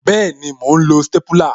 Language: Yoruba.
Bẹẹni, mo ń lo stépúlà